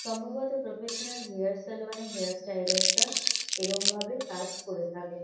সম্ভবত professional hair salon -এ hair stylers -রা এরমভাবে কাজ করে থাকে।